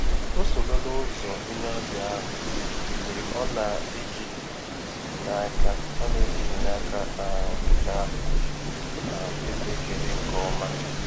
Ọ soro la ụzọ onye ọbịa ahụ mgbe ọ na-ejighi n'aka ọ na-ejighi n'aka um ka um esi ekele nke ọma.